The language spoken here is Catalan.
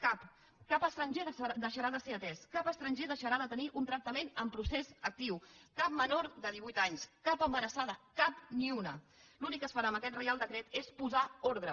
cap cap estranger deixarà de ser atès cap estranger deixarà de tenir un tractament en procés actiu cap menor de divuit anys cap embarassada cap ni una l’únic que es farà amb aquest reial decret és posar ordre